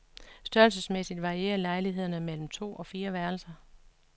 Størrelsesmæssigt varierer lejlighederne mellem to og fire værelser.